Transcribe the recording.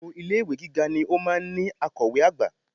Gbogbo ilé-ìwé Gíga ni ó máa ń ní akọ̀wé àgbà